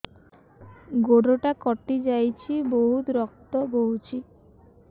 ଗୋଡ଼ଟା କଟି ଯାଇଛି ବହୁତ ରକ୍ତ ବହୁଛି